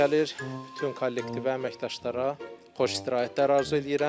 Bütün kollektivə, əməkdaşlara xoş istirahətlər arzu eləyirəm.